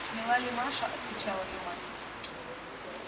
смела ли маша отвечала её мать